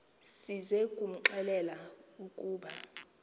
size kumxelela ukuba